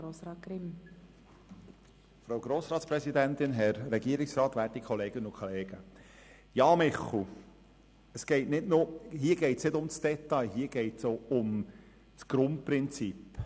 Ja, Michel Seiler, hier geht es nicht um das Detail, hier geht es auch um das Grundprinzip.